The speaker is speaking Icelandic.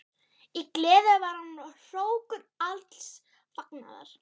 Í gleði var hann hrókur alls fagnaðar.